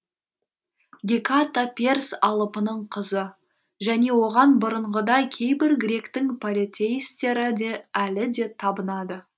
геката перс алыпының қызы және оған бұрыңғыдай кейбір гректің полетеисттері әлі де табынады